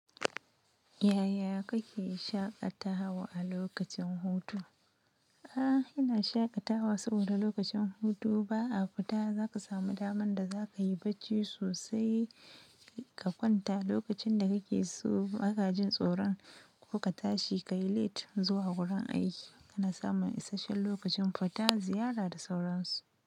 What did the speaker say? Yaya kake shaƙatawa a lokacin hutu? A'a, ina shaƙatawa saboda lokacin hutu ba a fita. Zaka samu daman da zakayi bacci sosai ka kwanta lokacin da kake so baka jin tsoron ko ka tashi kayi late zuwa wurin aiki baka samun isasshen lokacin fita ziyara da sauransu.